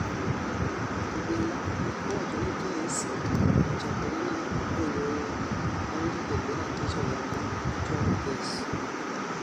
Obila owacho ni kes ochakore ne jonyuolne bang' joked ne ratich oganda chwalo kes